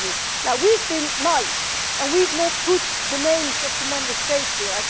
We have been nice and we have not put the names of the Member States here.